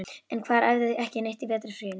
En hver æfði ekki neitt í vetrarfríinu?